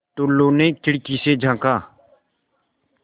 टुल्लु ने खिड़की से झाँका